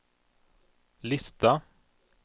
lista